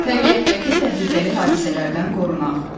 Təbiətdəki təhlükəli hadisələrdən qorunaq.